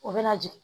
O bɛna jigin